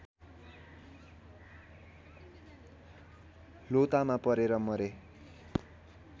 लोतामा परेर मरे